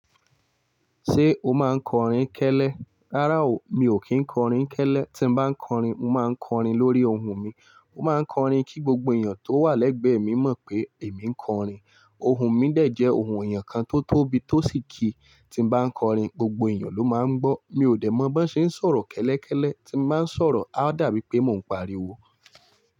Ṣé o máa ń kọrin kẹ́lẹ́? Rárá o, mi ò kí ń kọrin kẹ́lẹ́. Tí mo bá ń kọrin, mo máa ń kọrin lórí ohùn mi. Mo máa ń kọrin kí gbogbo èèyàn tó wà lẹ́gbẹ̀ẹ́ mi mọ̀ pé èmi ń kọrin. Ohùn mi dẹ̀ jẹ́ ohùn èèyàn kan tó tóbi tó sì kí tí mo bá ń kọrin gbogbo èèyàn ló máa gbọ́. Mi ò dẹ̀ mọ̀ bí wọ́n ṣe ń sọ̀rọ̀ kẹ́lẹ́kẹ́lẹ́, tí mo bá ń sọ̀rọ̀, á dàbí pé mò ń pariwo.